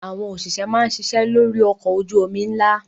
Àwọn òṣìṣẹ́ máa ń ṣiṣẹ́ lórí ọkọ̀ ojú-omi ńlá.